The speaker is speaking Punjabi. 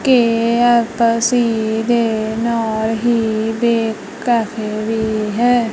ਕੇ_ਐਫ_ਸੀ ਦੇ ਨਾਲ ਹੀ ਬੇਕ ਕੈਫੇ ਵੀ ਹੈ।